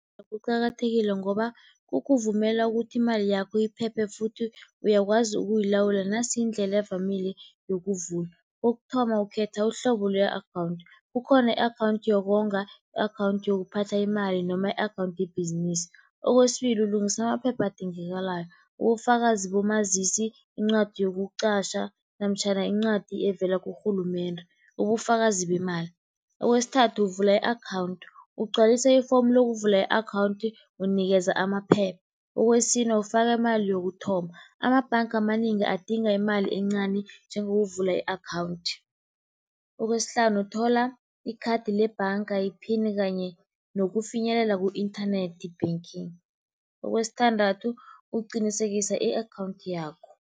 Kuqakathekile ngoba kukuvumela ukuthi imali yakho iphephe futhi uyakwazi ukuyilawula nasindlela evamile yokuvula. Kokuthoma, ukhetha uhlobo le-akhawunthi, kukhona i-akhawunthi yokonga, i-akhawunthu yokuphatha imali noma i-akhawunthi yebhizinisi. Kwesibili, ulungisa amaphepha adingekalayo ubufakazi bomazisi, incwadi yokutjatjha namtjhana incwadi evela kurhulumende, ubufakazi bemali. Kwesithathu, uvula i-akhawunthu ugcwalise ifomu lokuvula i-akhawunthi unikeza amaphepha. Kwesine, ufaka imali yokuthoma, amabhanga amanengi adinga imali encani njengokuvula i-akhawunthi. Kwesihlanu, uthola ikhathi lebhanga, iphini kanye nokufinyelela ku-internet banking. Kwesithandathu, uqinisekisa i-akhawunthi yakho.